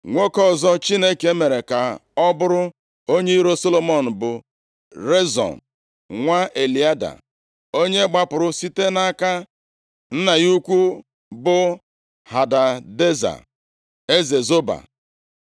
Nwoke ọzọ Chineke mere ka ọ bụrụ onye iro Solomọn bụ Rezon nwa Eliada, onye gbapụrụ site nʼaka nna ya ukwu bụ Hadadeza, eze Zoba.